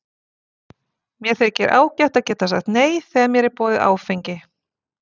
Mér þykir ágætt að geta sagt nei þegar mér er boðið áfengi.